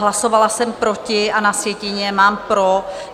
Hlasovala jsem proti a na sjetině mám pro.